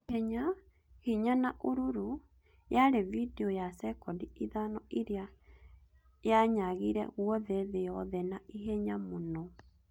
Ihenya , hinya na ũrũrũ; yarĩ vidiũ ya sekondi ithano ĩrĩa yanyagire guothe thĩ yothe na ihenya mũno